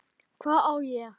Hvað á ég?